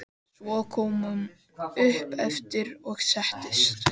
Svo kom hún upp aftur og settist.